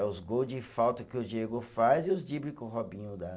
É os gol de falta que o Diego faz e os dribles que o Robinho dá.